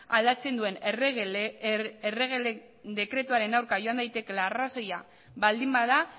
aldatzen duen errege dekretuaren aurkara joan daitekeela arrazoia baldin bada